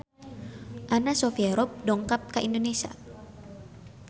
Anna Sophia Robb dongkap ka Indonesia